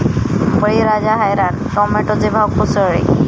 बळीराजा हैराण, टोमॅटोचे भाव कोसळले